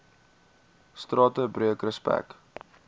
strate breek respek